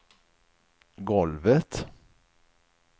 golvet